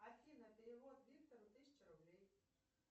афина перевод виктору тысяча рублей